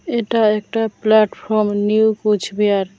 এটা একটা platform new Cooch Behar.